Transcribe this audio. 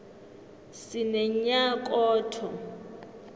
sinenyakotho